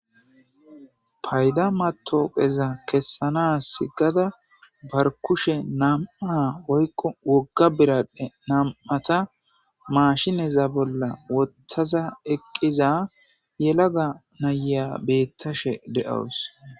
payda matoqeza kessana sigada barkushe nam7a oykqo wogga biraddhe nam7ata maashineza bolla wotthaza eqqiza yelaga naya beettashe de7owus